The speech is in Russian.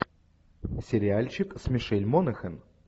сериальчик с мишель монахэн